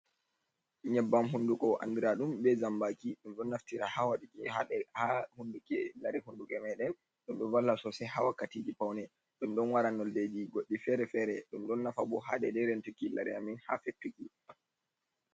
Nyebbam hunduko andraɗum be zambaki, ɗum ɗon naftira ha wadugo ha hunduki lare hunduki maɗen, ɗom ɗo valla sosai ha wakkatiji paune, ɗum ɗon wara noldeji goɗɗi fere-fere, ɗum ɗon nafa bo ha dede rentuki lare amin ha fettuki.